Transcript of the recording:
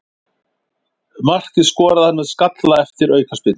Markið skoraði hann með skalla eftir aukaspyrnu.